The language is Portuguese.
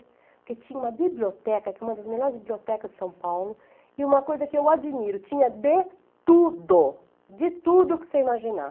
Porque tinha uma biblioteca, uma das melhores bibliotecas de São Paulo, e uma coisa que eu admiro, tinha de tudo, de tudo que você imaginar.